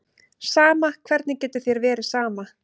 Sama, hvernig getur þér verið sama?